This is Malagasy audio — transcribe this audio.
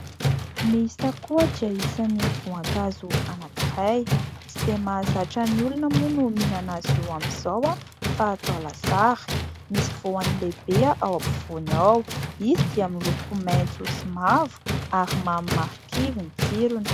Ny sakoa dia isany voankazo anankiray ; tsy dia mahazatra ny olona moa ny mihinana azy io amin'izao fa atao lasary ; misy voan'ny lehibe ao ampovoany ao. Izy dia miloko maitso sy mavo ary mamy marikivy ny tsirony.